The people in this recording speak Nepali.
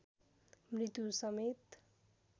मृत्यु समेत